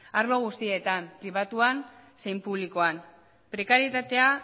arlo guztietan pribatuan zein publikoan prekarietatea